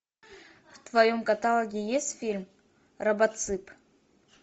в твоем каталоге есть фильм робоцып